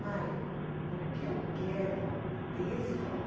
Mãe, o que eu quero disso?